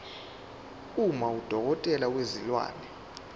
uma udokotela wezilwane